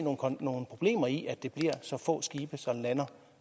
nogle problemer i at det bliver så få skibe som lander